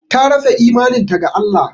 Ta rasa imaninta ga Allah